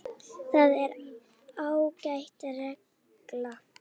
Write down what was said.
Það er ágæt regla.